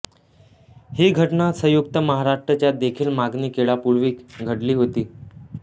ही घटना संयुक्त महाराष्ट्र च्या देखील मागणी केळ्यापूर्वी घडली होती